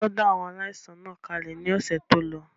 Wọ́n dá àwọn aláìsàn náà kalẹ̀ ní ọ̀sẹ̀ tólọ